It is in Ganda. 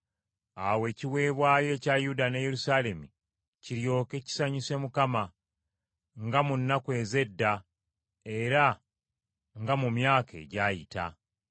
Awo ekiweebwayo ekya Yuda ne Yerusaalemi kiryoke kisanyuse Mukama , nga mu nnaku ez’edda era nga mu myaka egyayita.